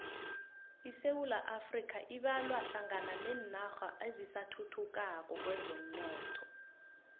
isewula afrika ibalwa hlangana nenarha ezisathuthukako kwezomnotho